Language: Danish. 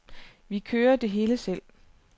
Vi kører det hele selv.